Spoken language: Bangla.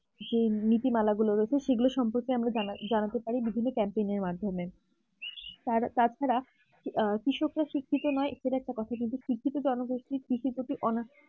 যে নীতি মালা গুলো রয়েছে সেগুলো সম্পর্কে জানাতে পারি বিভিন্ন camping র মাধ্যমে তার তাছাড়া কৃষকরা শিক্ষিত নয় এছাড়া একটা কথা শিক্ষিত জনগোষ্ঠীর